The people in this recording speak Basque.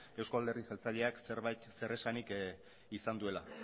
eusko alderdi jeltzaleak zerbait zer esanik izan duela